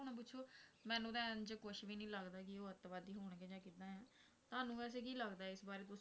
ਮੈਨੂੰ ਤਾਂ ਇੰਝ ਕੁਝ ਵੀ ਨਹੀਂ ਲੱਗਦਾ ਕਿ ਉਹ ਅੱਤਵਾਦੀ ਹੋਣਗੇ ਜਾਂ ਕਿੱਦਾਂ ਹੈ ਤੁਹਾਨੂੰ ਵੈਸੇ ਕੀ ਲੱਗਦਾ ਇਸ ਬਾਰੇ ਕੁਝ